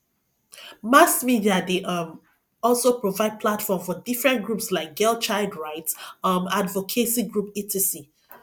mass media dey um also provide platform for different groups like girl child right um advocacy group etc